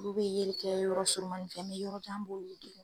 Olu bɛ yeli kɛ yɔrɔ surumani fɛ ni yɔrɔ jan